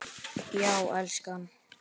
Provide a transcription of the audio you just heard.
Já, elskan?